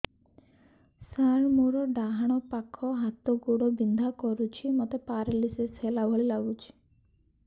ସାର ମୋର ଡାହାଣ ପାଖ ହାତ ଗୋଡ଼ ବିନ୍ଧା କରୁଛି ମୋତେ ପେରାଲିଶିଶ ହେଲା ଭଳି ଲାଗୁଛି